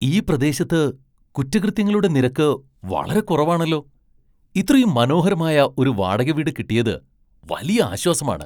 ഈ പ്രദേശത്ത് കുറ്റകൃത്യങ്ങളുടെ നിരക്ക് വളരെ കുറവാണല്ലോ! ഇത്രയും മനോഹരമായ ഒരു വാടക വീട് കിട്ടിയത് വലിയ ആശ്വാസമാണ്.